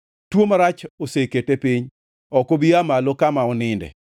“Tuo marach osekete piny; ok obi aa malo kama oninde.”